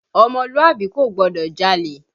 Ọmọlúàbí kò gbọdọ̀ jalè!